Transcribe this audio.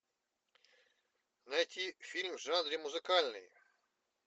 найти фильм в жанре музыкальный